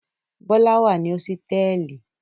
Bọ́lá wà ní hósítẹ́ẹ́lì.